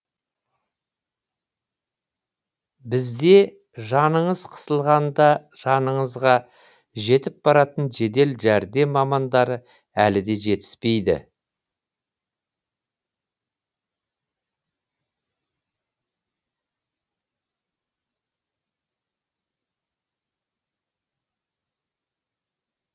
бізде жаныңыз қысылғанда жаныңызға жетіп баратын жедел жәрдем мамандары әлі де жетіспейді